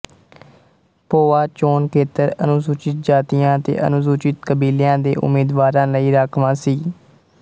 ਭੋਆ ਚੋਣ ਖੇਤਰ ਅਨੁਸੂਚਿਤ ਜਾਤੀਆਂ ਅਤੇ ਅਨੁਸੂਚਿਤ ਕਬੀਲਿਆਂ ਦੇ ਉਮੀਦਵਾਰਾਂ ਲਈ ਰਾਖਵਾਂ ਸੀ